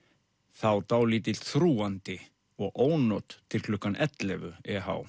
þá dálítill þrúgandi og ónot til klukkan ellefu